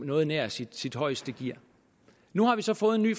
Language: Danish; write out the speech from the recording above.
noget nær i sit højeste gear nu har vi så fået en ny